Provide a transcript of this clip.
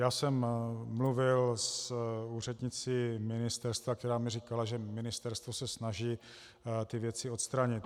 Já jsem mluvil s úřednicí ministerstva, která mi říkala, že ministerstvo se snaží ty věci odstranit.